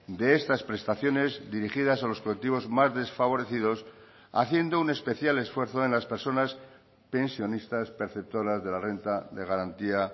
de estas prestaciones dirigidas a los colectivos más desfavorecidos haciendo un especial esfuerzo en las personas pensionistas perceptoras de la renta de garantía